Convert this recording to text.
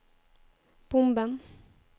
bomben